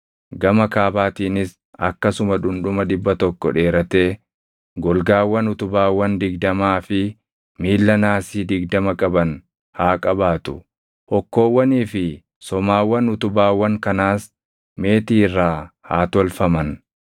Gama kaabaatiinis akkasuma dhundhuma dhibba tokko dheeratee golgaawwan utubaawwan digdamaa fi miilla naasii digdama qaban haa qabaatu; hokkoowwanii fi somaawwan utubaawwan kanaas meetii irraa haa tolfaman.